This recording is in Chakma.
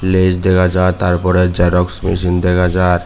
lays dega jar tar porey xerox machine dega jar.